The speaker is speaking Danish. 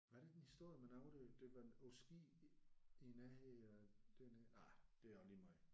Var der ikke en historie med nogen der var på ski i nærheden af dernede? Nej det er også lige meget